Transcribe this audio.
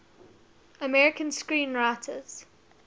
american screenwriters